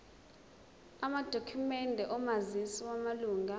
amadokhumende omazisi wamalunga